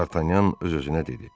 Dartanyan öz-özünə dedi: